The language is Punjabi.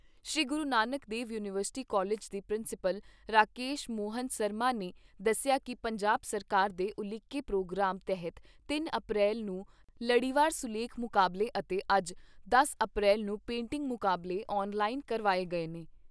ਸ੍ਰੀ ਗੁਰੂ ਨਾਨਕ ਦੇਵ ਯੂਨੀਵਰਸਿਟੀ ਕਾਲਜ ਦੇ ਪ੍ਰਿੰਸੀਪਲ ਰਾਕੇਸ ਮੋਹਣ ਸਰਮਾ ਨੇ ਦੱਸਿਆ ਕਿ ਪੰਜਾਬ ਸਰਕਾਰ ਦੇ ਉਲੀਕੇ ਪ੍ਰੋਗਰਾਮ ਤਹਿਤ ਤਿੰਨ ਅਪ੍ਰੈਲ ਨੂੰ ਲੜੀਵਾਰ ਸੁਲੇਖ ਮੁਕਾਬਲੇ ਅਤੇ ਅੱਜ ਦਸ ਅਪ੍ਰੈਲ ਨੂੰ ਪੇਟਿੰਗ ਮੁਕਾਬਲੇ ਆਨ ਲਾਈਨ ਕਰਵਾਏ ਗਏ ਨੇ।